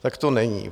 Tak to není.